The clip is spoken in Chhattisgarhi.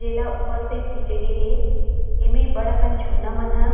एला ऊपर से खींचे गे हे एमें बड़ अकन झूलना मन ह--